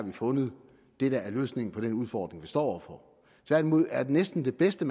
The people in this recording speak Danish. har fundet løsningen på den udfordring som vi står over for tværtimod er næsten det bedste